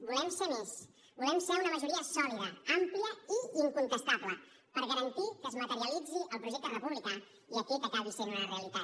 volem ser més volem ser una majoria sòlida àmplia i incontestable per garantir que es materialitzi el projecte republicà i aquest acabi sent una realitat